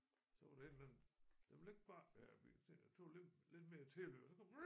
Så var der et eller andet den ville ikke bakke den her bil så tænkte jeg tog lidt lidt mere tilløb og så kom